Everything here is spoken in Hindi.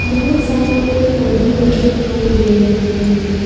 बहुत सारे पेड़ पौधे भी दिखाई दे रहे हैं।